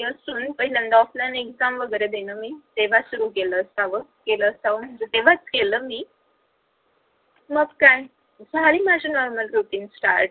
पहिल्यांदा offline exam वगैरे देणं सुरू केले असावं केल असावं म्हणजे तेव्हाच केल मी मग काय झाली माझी normal routine start तेव्हा